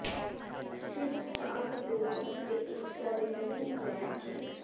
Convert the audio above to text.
ਫਿਰ ਸਟਾਕ ਡੋਲ੍ਹ ਅਤੇ ਇੱਕ ਫ਼ੋੜੇ ਨੂੰ ਲੈ ਕੇ